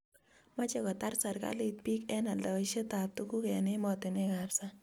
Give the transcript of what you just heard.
Mache kotaret serikalit piik eng aldaishet ab tuguk eng' ematinwek ab sang'